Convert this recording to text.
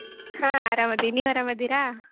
ಹಾ ಆರಾಮದಿ ನೀವ್ ಆರಾಮಾದಿರಾ?